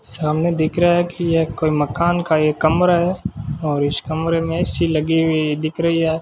सामने दिख रहा है कि ये कोई मकान का ये कमरा हैं और इस कमरे में ए_सी लगी हुई दिख रहीं हैं।